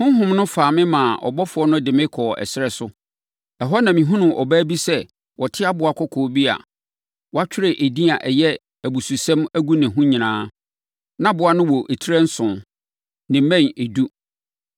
Honhom no faa me maa ɔbɔfoɔ no de me kɔɔ ɛserɛ so. Ɛhɔ na mehunuu ɔbaa bi sɛ ɔte aboa kɔkɔɔ bi a wɔatwerɛ edin a ɛyɛ abususɛm agu ne ho nyinaa. Na aboa no wɔ tire nson, ne mmɛn edu.